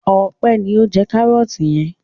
Ọpẹ́ ni ó ń jẹ kárọ́tì yẹn.